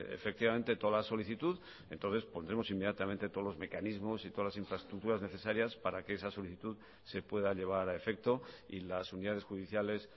efectivamente toda la solicitud entonces pondremos inmediatamente todos los mecanismos y todas las infraestructuras necesarias para que esa solicitud se pueda llevar a efecto y las unidades judiciales